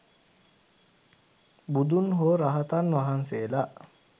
බුදුන් හෝ රහතන් වහන්සේලා